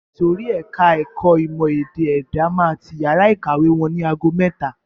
Ìsòrí ẹka ẹ̀kọ́ ìmọ̀ ẹ̀dá-èdè máa ti yàrá ìkàwé wọn ni ago mẹ́ta.